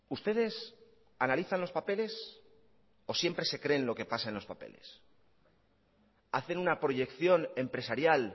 ustedes analizan los papeles o siempre se creen lo que pasa en los papeles hacen una proyección empresarial